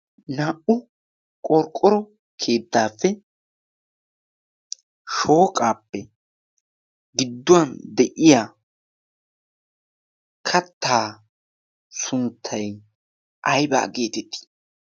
naa"u qorqqoro keettaappe shooqaappe gidduwan de'iya kattaa sunttay aybaa geetettii?